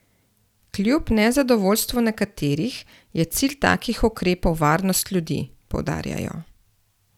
Kljub nezadovoljstvu nekaterih je cilj takih ukrepov varnost ljudi, poudarjajo.